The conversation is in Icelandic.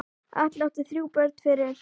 Atli átti þrjú börn fyrir.